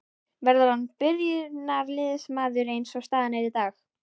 Verður hann byrjunarliðsmaður eins og staðan er í dag?